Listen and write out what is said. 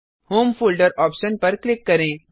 home folder option पर click करें